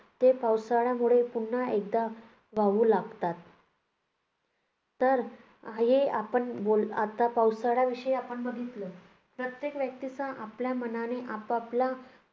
ते पावसाळ्यामुळे पुन्हा एकदा वाहू लागतात. तर हे आपण बोल~ आता पावसाळ्याविषयी आपण बघितले. प्रत्येक व्यक्तीचा आपल्या मनाने आपापला